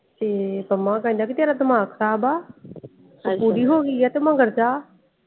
ਤੇ ਪੰਮਾ ਕਹਿੰਦਾ ਕੇ ਤੇਰਾ ਦਿਮਾਗ ਖਰਾਬ ਆ .